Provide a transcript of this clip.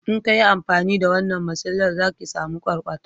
in kayi amfani da wannan masilar za ki samu kwarkwata